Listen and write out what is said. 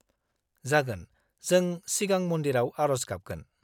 -जागोन, जों सिगां मन्दिराव आर'ज गाबगोन।